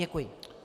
Děkuji.